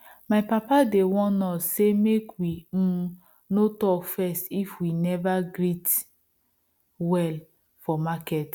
my papa dey warn us say make we um no talk first if we never greet well for market